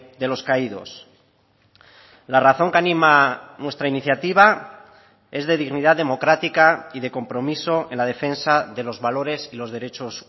de los caídos la razón que anima nuestra iniciativa es de dignidad democrática y de compromiso en la defensa de los valores y los derechos